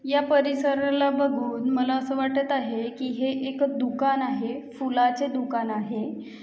या परिसराला बघून मला अस वाटत आहे कि हे एक दुकान आहे फुलाचे दुकान आहे.